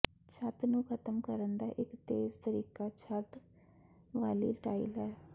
ਛੱਤ ਨੂੰ ਖਤਮ ਕਰਨ ਦਾ ਇਕ ਤੇਜ਼ ਤਰੀਕਾ ਛੱਤ ਵਾਲੀ ਟਾਇਲ ਹੈ